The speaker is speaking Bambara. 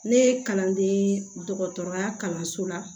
Ne ye kalanden dɔgɔtɔrɔya kalanso la